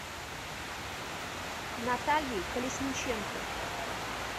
натальей колесниченко